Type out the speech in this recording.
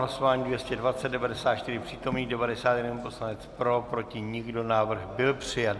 Hlasování 220, 94 přítomných, 91 poslanec pro, proti nikdo, návrh byl přijat.